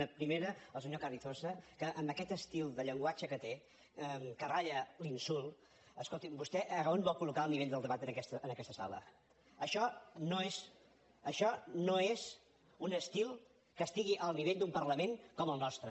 una primera al senyor carrizosa que amb aquest estil de llenguatge que té que ratlla l’insult escolti’m vostè on vol col·locar el nivell del debat en aquesta sala això no és un estil que estigui al nivell d’un parlament com el nostre